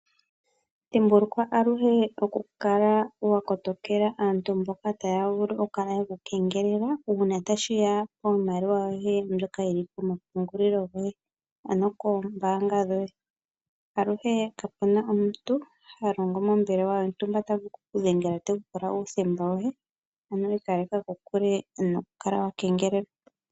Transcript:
Dhimbulukwa aluhe oku kala wakotokela aantu mboka taya vulu oku kala yeku kengelela uuna tashiya piimaliwa mbyoka yili komapungulilo goye. Aluhe kapuna omuntu ha longo mombelewa yontumba ta vulu oku kudhengela tekupula uuthemba woye, ikaleka kokule noku kala wakeengelelwa.